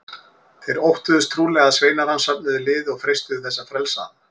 Þeir óttuðust trúlega að sveinar hans söfnuðu liði og freistuðu þess að frelsa hann.